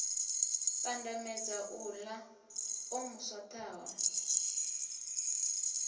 pandamedza uḽa o mu swaṱaho